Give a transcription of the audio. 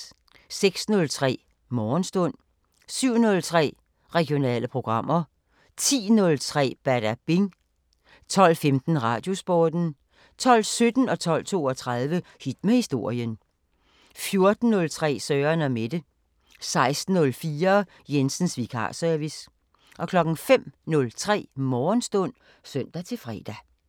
06:03: Morgenstund 07:03: Regionale programmer 10:03: Badabing 12:15: Radiosporten 12:17: Hit med historien 12:32: Hit med historien 14:03: Søren & Mette 16:04: Jensens vikarservice 05:03: Morgenstund (søn-fre)